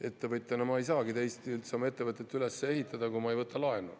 Ettevõtjana ma ei saagi teisiti üldse oma ettevõtet üles ehitada, kui ma pean võtma laenu.